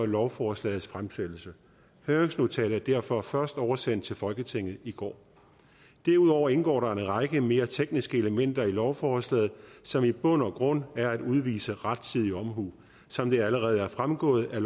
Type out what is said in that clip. lovforslagets fremsættelse høringsnotatet er derfor først oversendt til folketinget i går derudover indgår der en række mere tekniske elementer i lovforslaget som i bund og grund er at udvise rettidig omhu som det allerede er fremgået er